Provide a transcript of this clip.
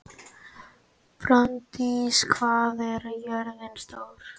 Branddís, hvað er jörðin stór?